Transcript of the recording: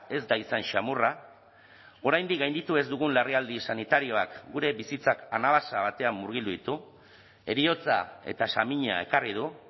ez da izan samurra oraindik gainditu ez dugun larrialdi sanitarioak gure bizitzak anabasa batean murgildu ditu heriotza eta samina ekarri du